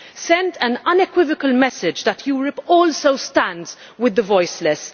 Send an unequivocal message that Europe also stands with the voiceless.